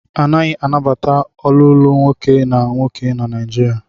A naghi anabata olulu nwoke na nwoke na Naijiria.